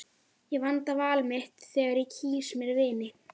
Ég vanda val mitt þegar ég kýs mér vini.